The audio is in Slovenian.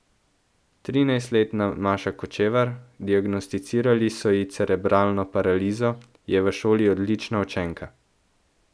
Trinajstletna Maša Kočevar, diagnosticirali so ji cerebralno paralizo, je v šoli odlična učenka.